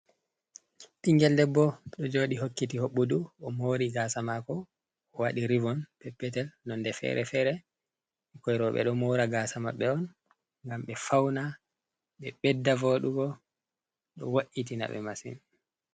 Ɓingel debbo, ɗo joɗi hokkiti hoɓɓudu o mauri gasa mako, o waɗi rivon peppetel nonde fere fere, ɓikkoi roɓe ɗo mora gasa maɓɓe on ngam ɓe fauna, ɓe ɓedda voɗugo ɗo wo’itina ɓe masin.